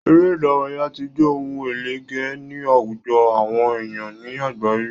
Eré ìdárayá tí jẹ ohun ẹlẹgé ní àwùjọ àwọn èèyàn ní àgbáyé